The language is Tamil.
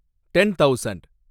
ten thousand